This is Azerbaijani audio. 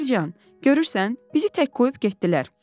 Gülər can, görürsən, bizi tək qoyub getdilər.